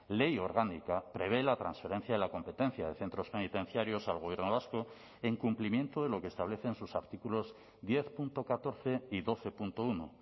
ley orgánica prevé la transferencia de la competencia de centros penitenciarios al gobierno vasco en cumplimiento de lo que establecen sus artículos diez punto catorce y doce punto uno